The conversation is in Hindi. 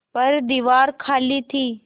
पर दीवार खाली थी